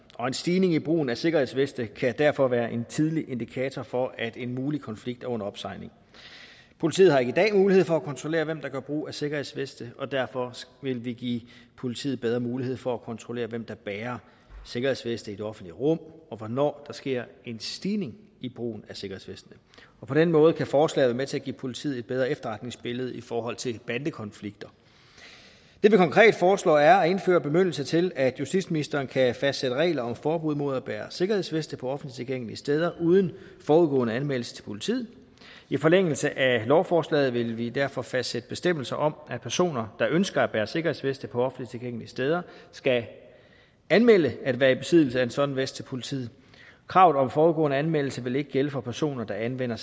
og en stigning i brugen af sikkerhedsveste kan derfor være en tidlig indikator for at en mulig konflikt er under opsejling politiet har i dag ikke mulighed for at kontrollere hvem der gør brug af sikkerhedsveste og derfor vil vi give politiet bedre mulighed for at kontrollere hvem der bærer sikkerhedsveste i det offentlige rum og hvornår der sker en stigning i brugen af sikkerhedsveste på den måde kan forslaget være med til at give politiet et bedre efterretningsbillede i forhold til bandekonflikter det vi konkret foreslår er at indføre bemyndigelse til at justitsministeren kan fastsætte regler om forbud mod at bære sikkerhedsveste på offentligt tilgængelige steder uden forudgående anmeldelse til politiet i forlængelse af lovforslaget vil vi derfor fastsætte bestemmelser om at personer der ønsker at bære sikkerhedsveste på offentligt tilgængelige steder skal anmelde at være i besiddelse af en sådan vest til politiet kravet om forudgående anmeldelse vil ikke gælde for personer der anvender